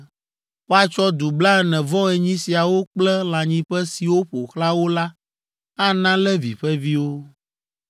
Woatsɔ du blaene-vɔ-enyi siawo kple lãnyiƒe siwo ƒo xlã wo la ana Levi ƒe viwo.